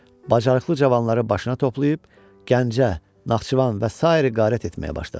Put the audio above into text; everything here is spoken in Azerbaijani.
Bacarıqlı cavanları başına toplayıb, Gəncə, Naxçıvan və sair qaret etməyə başladı.